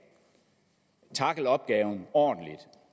tackle opgaven ordentligt